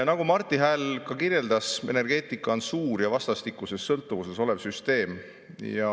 Nagu Marti Hääl kirjeldas, energeetika on suur ja vastastikuses sõltuvuses olev süsteem.